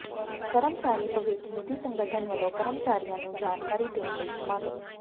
ਕਰਮਚਾਰੀ ਭਵਿੱਖ ਨਿਧੀ ਸੰਗਠਨ ਵੱਲੋਂ ਕਰਮਚਾਰੀਆਂ ਨੂੰ ਜਾਣਕਾਰੀ ਦੇਣ ਲਈ ਸਮਾਗਮ